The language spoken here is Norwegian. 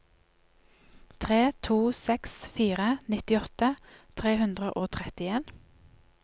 tre to seks fire nittiåtte tre hundre og trettien